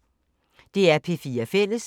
DR P4 Fælles